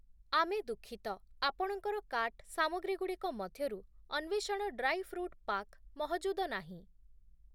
ଆମେ ଦୁଃଖିତ, ଆପଣଙ୍କର କାର୍ଟ୍ ସାମଗ୍ରୀ‌ଗୁଡ଼ିକ ମଧ୍ୟରୁ ଅନ୍ଵେଷଣ ଡ୍ରାଇ ଫ୍ରୁଟ୍ ପାକ୍‌ ମହଜୁଦ ନାହିଁ ।